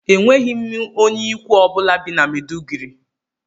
Enweghị m onye ikwu ọ bụla bi na Mèduguri